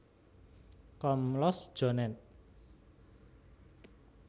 Komlos John ed